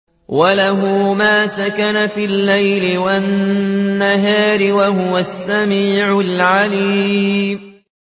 ۞ وَلَهُ مَا سَكَنَ فِي اللَّيْلِ وَالنَّهَارِ ۚ وَهُوَ السَّمِيعُ الْعَلِيمُ